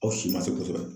Aw si ma se kosɛbɛ